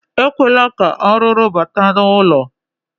Ekwela ka arụrụ bata n'ụlọ.